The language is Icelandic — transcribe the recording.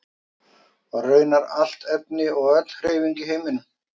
Og raunar allt efni og öll hreyfing í heiminum.